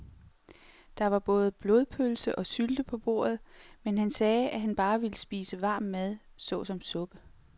Der var både blodpølse og sylte på bordet, men han sagde, at han bare ville spise varm mad såsom suppe.